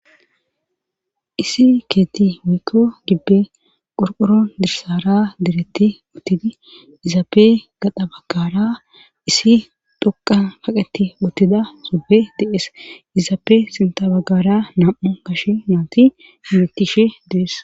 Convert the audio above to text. isi keetti weykko gibbe qorqoro dirsara diretti uttidi izaape gada baggara isi dhoqa haqeti uttida sube dees izaape sinta baggara nam7o gashe nyaanti himettishe dees